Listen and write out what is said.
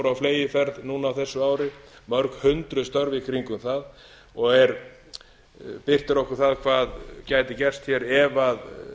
á fleygiferð núna á þessu ári mörg hundruð störf í kringum það og birtir okkur það hvað gæti gerst hér ef